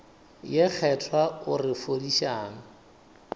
ye kgethwa o re fodišang